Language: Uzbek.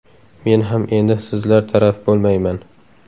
Men ham endi sizlar taraf bo‘lmayman.